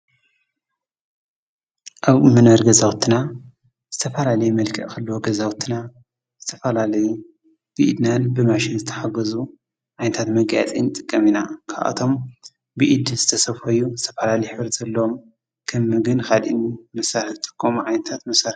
አብ መንበሪ ገዛዉትና ዝተፈላለየ መልክዕ ክህልዎ ገዛዉትና ዝተፋላለየ ብኢድናን ብማሽንን ዝተሓገዙ ዓይነታት መጋየፂ ንጥቀም ኢና። ካብኣቶም ብኢድ ዝተሰፈዩ ዝተፋላለየ ሕብሪ ዘለዎም ከም ምግቢን ካሊእን መሳርሒ ዝጥቀሙ ዓይነታት መሳርሒ ።